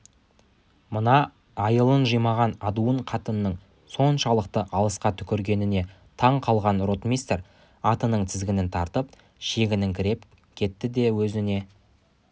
мына айылын жимаған адуын қатынның соншалықты алысқа түкіргеніне тан қалған ротмистр атының тізгінін тартып шегініңкіреп кетті де өзіне